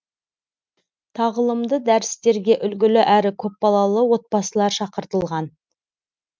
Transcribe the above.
тағылымды дәрістерге үлгілі әрі көпбалалы отбасылар шақыртылған